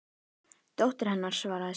Dóttir hennar, svaraði Sveinn.